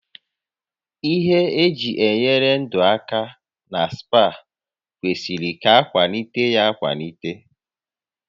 Ihe eji enyere ndụ aka na spa kwesịrị ka akwalite ya akwalite